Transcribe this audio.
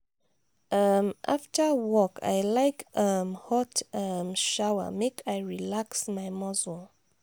um after work i like um hot um shower make i relax my muscle.